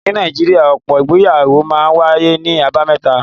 Ní Nàìjíríà, ọ̀pọ̀ ìgbéyàwó máa ń wáyé ní àbámẹ́ta.